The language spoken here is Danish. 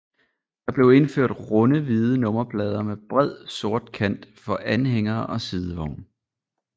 Der blev indført runde hvide nummerplader med bred sort kant for anhængere og sidevogne